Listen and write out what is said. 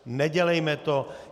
Nedělejme to.